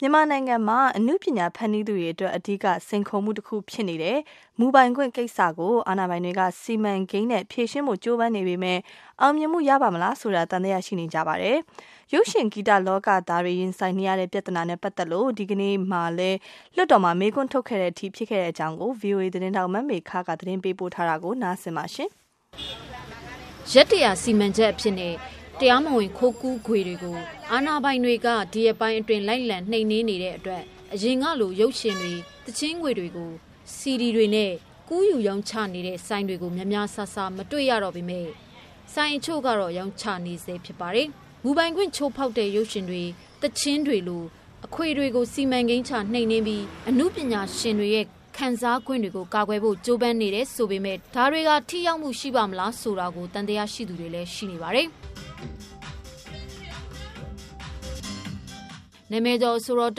မြန်မာနိုင်ငံမှာ အနုပညာ ဖန်တီးသူတွေအတွက် အဓိကစိန်ခေါ်မှုတခုဖြစ်နေတဲ့ မူပိုင်ခွင့်ကိစ္စကို အာဏာပိုင်တွေက စီမံကိန်းနဲ့ ဖြေရှင်းဖို့ ကြိုးပမ်းနေပေမဲ့ အောင်မြင်မှု ရပါ့မလားဆိုတာ သံသယရှိနေကြပါတယ်။ ရုပ်ရှင်၊ ဂီတလောကသားတွေ ရင်ဆိုင်နေရတဲ့ ပြဿနာနဲ့ ပတ်သက်လို့ ဒီကနေ့မှာလည်း လွှတ်တော်မှာ မေးခွန်းထုတ်ခဲ့တဲ့အထိ ဖြစ်ခဲ့တဲ့အကြောင်းကိုတော့ ဗွီအိုအေ သတင်းထောက် မေခ က သတင်းပေးပို့ထားပါတယ်။ ရက် ၁၀၀ စီမံချက်အဖြစ်နဲ့ တရားမဝင် ခိုးကူးခွေတွေကို အာဏာပိုင်တွေက ဒီရက်ပိုင်းအတွင်း လိုက်လံနှိမ်နင်းနေတဲ့အတွက် အရင်ကလို ရုပ်ရှင်တွေ၊ သီချင်းတွေကို စီဒီတွေနဲ့ ကူးယူရောင်းချနေတဲ့ ဆိုင်တွေကို များများစားစား မတွေ့ရတော့ပေမဲ့၊ ဆိုင်တချို့မှာတော့ ရောင်းချ နေဆဲဖြစ်ပါတယ်။ မူပိုင်ခွင့် ချိုးဖောက်တဲ့ ရုပ်ရှင်တွေ၊ သီချင်းတွေလို အခွေတွေကို စီမံကိန်းချ နှိမ်နင်းပြီး အနုပညာရှင်တွေရဲ့ ခံစားခွင့်တွေကို ကာကွယ်ဖို့ ကြိုးပမ်းနေတယ်ဆိုပေမဲ့ ဒါတွေဟာ ထိရောက်မှု ရှိပါ့မလားဆိုတာကို သံသယဖြစ်သူတွေလည်း ရှိပါတယ်။ နာမည်ကျော် အဆိုတော် တ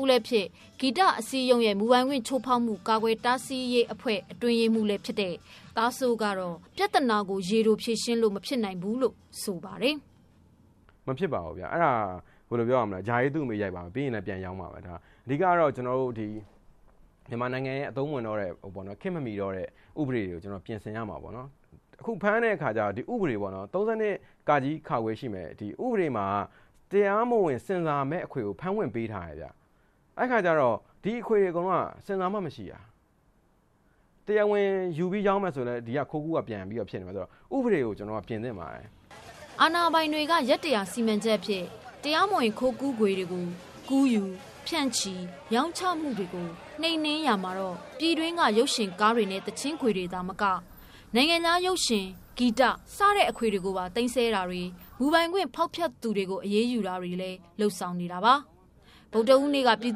ဦးလည်းဖြစ် ဂီတအစည်းအရုံးရဲ့ မူပိုင်ခွင့်ချိုးဖောက်မှု ကာကွယ်တားဆီးရေး အတွင်းရေးမှူး သားစိုး ကတော့ ပြဿနာကို ရေတိုဖြေရှင်းလို့ မဖြစ်နိုင်ဘူးလို့ ဆိုပါတယ်။ “မဖြစ်ပါဘူးခင်ဗျ အဲဒါဘယ်လိုပြောရမလဲဆိုတော့ ဂျာအေးသူ့အမေရိုက်ပါပဲခင်ဗျ။ အဓိကတော့ ကျနော်တို့ဒီ မြန်မာနိုင်ငံရဲ့အသုံးမဝင်တော့တဲ့ ခေတ်မမှီတော့တဲ့ ဥပဒေတွေကို ပြင်ဆင်ရမှာပေါ့နော် အခုဖမ်းတဲ့ဥပဒေပ ၃၂ ရှိမယ်။ ဥပဒေမှာက တရားမဝင်၊ ဆင်ဆာမဲ့အခွေကို ဖမ်းခွင့်ပေးထားတယ်။ အဲဒီအခါကျတော့ ဒီအခွေတွေအကုန်လုံးက ဆင်ဆာမှမရှိတာ တရားဝင် ယူပြီးရောင်းမယ်ဆိုရင်လည်း ဒီက ခိုးကူးကပြန်ဖြစ်မယ်ဆိုတော့ ဥပဒေကို ကျနော်တို့က ပြင်သင့်ပါတယ်။” အာဏာပိုင်တွေက ရက် ၁၀၀ စီမံချက်အဖြစ် တရားမဝင် ခိုးကူးခွေတွေကို ကူးယူ၊ ဖြန့်ချီ၊ ရောင်းချမှုတွေကို နှိမ်နင်းရမှာတော့ ပြည်တွင်းက ရုပ်ရှင်ကားတွေ၊ သီချင်းခွေတွေ သာမက နိုင်ငံခြားရုင်ရှင်၊ ဂီတ စတဲ့အခွေတွေကိုပါ သိမ်းဆည်းတာတွေ၊ မူပိုင်ခွင့် ဖောက်ဖျက်သူတွေကို အရေးယူတာတွေလည်း လုပ်ဆောင်နေတာပါ။ ဗုဒ္ဓဟူးနေ့က ပြည်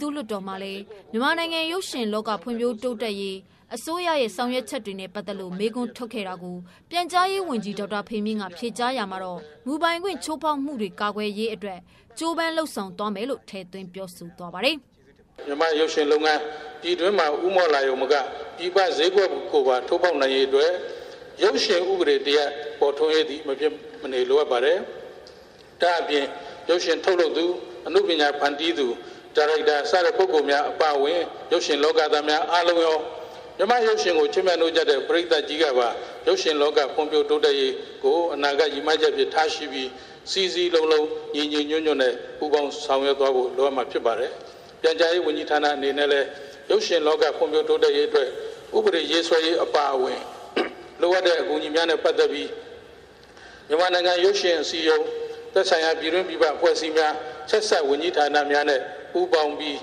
သူ့လွှတ်တော်မှာလည်း မြန်မာနိုင်ငံရုပ်ရှင်လောက ဖွံ့ဖြိုးတိုးတက်ရေး အစိုးရရဲ့ ဆောင်ရွက်ချက်တွေနဲ့ ပတ်သက်လို့ မေးခွန်းထုတ်ခဲ့တာကို ပြန်ကြားရေးဝန်ကြီး ဒေါက်တာဖေမြင့် ကဖြေကြားရာမှာ မူပိုင်ခွင့် ချိုးဖောက်မှုတွေ ကာကွယ်ရေး ကြိုးပမ်းမှုတွေကို ထည့်သွင်း ပြောဆိုသွားပါတယ်။ “မြန်မာ့ရုပ်ရင်လုပ်ငန်း ပြည်တွင်းမှာ ဦးမော့လာရုံသာမက ပြည်ပဈေးကွက်ကိုပါ ထိုးဖောက်လာနိုင်ရေးအတွက် ရုပ်ရှင်ဥပဒေတရပ်သည် မဖြစ်မနေလိုအပ်ပါတယ်။ ဒါ့အပြင် ရုပ်ရှင်ထုတ်လုပ်သူ ၊ အနုပညာဖန်တီးသူများ၊ ဒါရိုက်တာများအပါအဝင် ရုပ်ရှင်လောကသားများအားလုံးရော မြန်မာ့ရုပ်ရှင်ကို ချစ်မြတ်နိုးကြတဲ့ ပရိတ်သတ်ကြီးကပါ ရုပ်ရှင်လောက ဖွံ့ဖြိုးတိုးတက်ရေးကို အနာဂတ်ရည်မှန်းချက်အဖြစ်ထားရှိပြီး စည်းစည်းလုံးလုံးညီညီညွှတ်ညွှတ်နဲ့ ပူးပေါင်းဆောင်ရွက်သွားဖို့ လိုအပ်မှာဖြစ်ပါတယ်။ ပြန်ကြားရေးဝန်ကြီးဌာန အနေနဲ့လည်း ရုပ်ရှင်လောက ဖွံ့ဖြိုးတိုးတက်ရေးအတွက် ဥပဒေရေးဆွဲရေးအပါအဝင် လိုအပ်တဲ့အကူအညီများနဲ့ ပတ်သက်ပြီး မြန်မာနိုင်ငံ ရုပ်ရှင်အစည်းအရုံးသက်ဆိုင်ရာ ပြည်တွင်းပြည်ပ အဖွဲ့အစည်းများ ဆက်စပ် ဝန်ကြီးဌာနများနဲ့ ပူးပေါင်းပြီး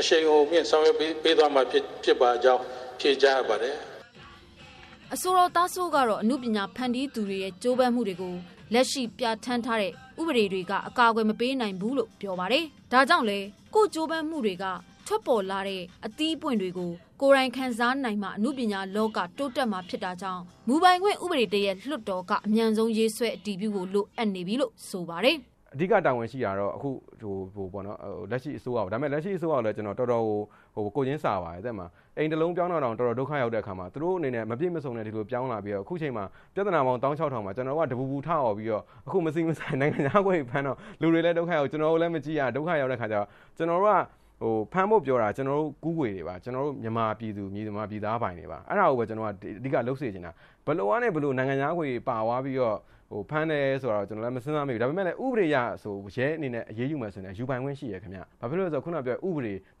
အရှိန်အဟုန်မြင့်ဆောင်ရွက်ပေးသွားမှာဖြစ်ကြောင်း ဖြေကြားအပ်ပါတယ်။” အဆိုတော် သားစိုး ကတော့ အနုပညာဖန်တီးသူတွေရဲ့ ကြိုးပမ်းမှုတွေကို လက်ရှိပြဌာန်းထားတဲ့ ဥပဒေတွေက အကာအကွယ် မပေးနိုင်ဘူးလို့ ပြောပါတယ်။ ဒါကြောင့်လည်း ကိုယ့်ကြိုးပမ်းမှုက ထွက်ပေါ်လာတဲ့ အသီးအပွင့်တွေကို ကိုယ်တိုင်ခံစားနိုင်မှ အနုပညာလောက တိုးတက်နိုင်မှာ ဖြစ်တာကြောင့် မူပိုင်ခွင့်ဥပဒေတရပ် လွှတ်တော်က အမြန်ဆုံးရေးဆွဲ အတည်ပြုဖို့ လိုနေပြီလို့ ဆိုပါတယ်။ “အဓိကတာဝန်ရှိတာကတော့ လက်ရှိအစိုးရပေါ့နော်၊ လက်ရှိအစိုးရကိုလည်း တော်တော်ကို ကိုယ်ချင်းစာပါတယ် ဟုတ်တယ်မလား၊ အိမ်တလုံးပြောင်းတာတောင် တော်တော်ဒုက္ခရောက်တာ၊ ဆိုတော့ သူတို့အနေနဲ့ မပြည့်မစုံဒီလိုပြောင်းလာပြီး အခုအချိန်မှာ ပြဿနာပေါင်း သောင်းခြောက်ထောက်မှာ ကျနော်တို့က ဒီလို တပူပူထအော်ပြီးတော့ အခုမဆီမဆိုင် နိုင်ငံခြားခွေတွေဖမ်းတော့ လူတွေလည်း ဒုက္ခရောက်၊ ကျနော်တို့လည်းမကြည့်ရဖြစ်တော့ ကျနော်တို့က ဖမ်းဖို့ပြောတာက ကျနော်တို့ ကူးခွေတွေပါ ၊ ကျနော်တို့ မြန်မာပြည်သူမြန်မာပြည်သား ပိုင်တွေပါ။ အဲဒါကိုပဲ ကျနော်က အဓိကလုပ်စေချင်တာ။ ဘယ်လိုကနေ နိုင်ငံခြားအခွေတွေပါသွားပြီးတော့ ဖမ်းတယ်ဆိုတာ မစဉ်းစားမိဘူး။ ဒါပေမယ့်လည်း ဥပဒေအရ ရဲအနေနဲ့ အရေးယူမယ်ဆို ယူပိုင်ခွင့်ရှိတယ်။ ဘာဖြစ်လို့လဲဆိုတော့ ခုနကပြောတဲ့ဥပဒေ ၃၂ တ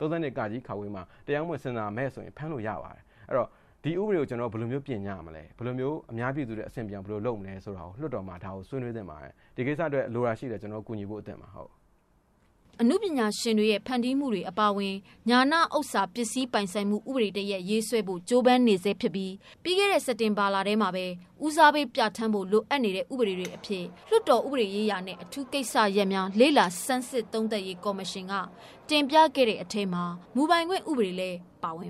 ွေမှာ တရားမဝင် ဆင်ဆာမဲ့ဆိုရင် ဖမ်းလို့ရပါတယ်။ ဆိုတော့ ဒီဥပဒေတွေကို ကျနော်တို့ ပြင်ကြမလဲ၊ ဘယ်လိုမျိုး အများပြည်သူအတွက်အဆင်ပြေအောင်လုပ်မလဲ ဆိုတာကို လွှတ်တော်မှာဆွေးနွေးသင့်ပါတယ်။ ဒီအတွက်လည်း လိုတာရှိရင်လည်း ကျနော်တို့ ကူညီဖို့အသင့်ပါ။” အနုပညာရှင်တွေရဲ့ ဖန်တီးမှုတွေ အပါအဝင် ဉာဏ်ဥစ္စာပစ္စည်းပိုင်ဆိုင်မှု ဥပဒေတရပ် ရေးဆွဲဖို့ ကြိုးပမ်းနေဆဲဖြစ်ပြီး၊ ပြီးခဲ့တဲ့ စက်တင်ဘာလထဲမှာပဲ ဦးစားပေး ပြဌာန်းဖို့ လိုအပ်နေတဲ့ ဥပဒေတွေအဖြစ် လွှတ်တော်ဥပဒေရေးရာနဲ့ အထူးကိစ္စရပ်များ လေ့လာဆန်းစစ် သုံးသပ်ရေး ကော်မရှင်က တင်ပြခဲ့တဲ့ အထဲမှာ မူပိုင်ခွင့်ဥပဒေလည်း ပါဝင်